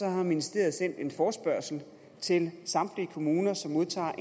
har ministeriet sendt en forespørgsel til samtlige kommuner som modtager